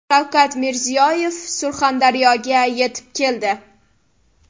Shavkat Mirziyoyev Surxondaryoga yetib keldi.